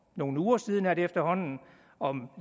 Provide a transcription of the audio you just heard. nogle uger siden er det efterhånden om